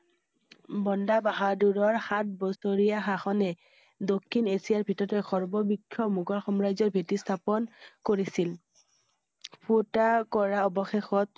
বন্দা বাহাদুৰৰ সাত বছৰীয়া সাখনে দক্ষিণ এছিয়াৰ ভিতৰত সৰ্ব বৃক্ষ মুঘল সমাজৰ ভেটি স্থাপন কৰিছিল। ফুটা কৰা অৱশেষত